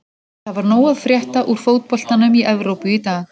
Það var nóg að frétta úr fótboltanum í Evrópu í dag.